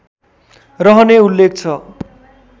रहने उल्लेख छ